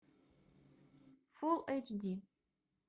фул эйч ди